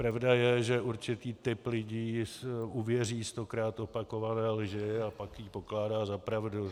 Pravda je, že určitý typ lidí uvěří stokrát opakované lži a pak ji pokládá za pravdu.